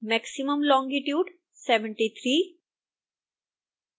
maximum longitude 73